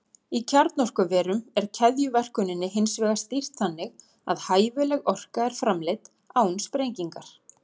Í kjarnorkuverum er keðjuverkuninni hins vegar stýrt þannig að hæfileg orka er framleidd án sprengingar.